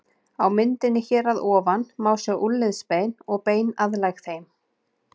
Á myndinni hér að ofan má sjá úlnliðsbein og bein aðlæg þeim.